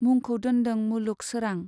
मुंखौ दोनदों मुलुग सोरां।